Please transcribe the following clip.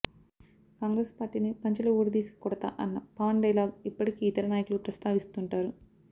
కాంగ్రెస్ పార్టీని పంచెలు ఊడదీసి కొడతా అన్న పవన్ డైలాగ్ ఇప్పటికీ ఇతర నాయకులు ప్రస్తావిస్తుంటారు